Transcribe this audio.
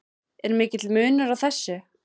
Er mikill munur á þessu?